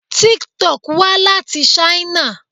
Tik-Tok wá láti Ṣáínà.